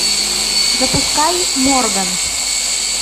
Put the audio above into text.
запускай морган